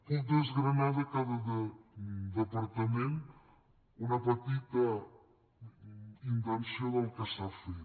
puc desgranar de cada departament una petita intenció del que s’ha fet